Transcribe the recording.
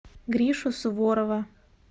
гришу суворова